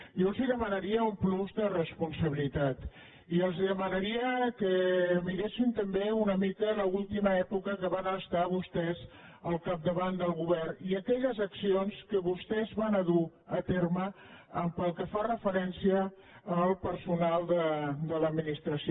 jo els demanaria un plus de responsabilitat i els demanaria que miressin també una mica l’última època en què van estar vostès al capdavant del govern i aquelles accions que vostès van dur a terme pel que fa referència al personal de l’administració